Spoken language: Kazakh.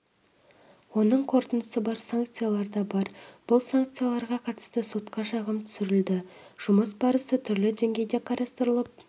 оның қорытындысы бар санкциялар дабар бұл санкцияларға қатысты сотқа шағым түсірілді жұмыс барысы түрлі деңгейде қарастырылып